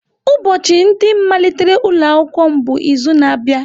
Ụbọchị ndị malitere ụlọ akwụkwọ m bụ izu na-abịa.